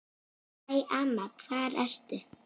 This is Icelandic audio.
Æ, amma hvar ertu?